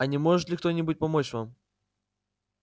а не может ли кто-нибудь помочь вам